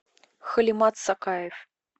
халимат сакаев